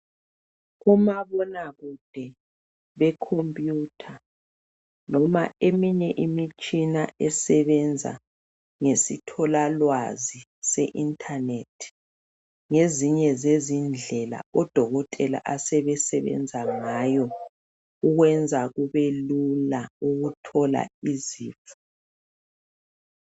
Umabonakude bekhompuyutha noma eminye imitshina esebenza ngesithola lwazi se inthanethi. Ngezinye zezindlela odokotela asebesebenza ngayo ukwenza kube lula ukuthola izifo.